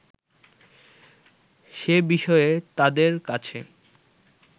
সে বিষয়ে তাদের কাছে